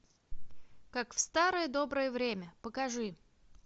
как в старое доброе время покажи